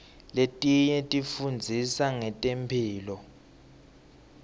letinye tifundzisa ngetemphilo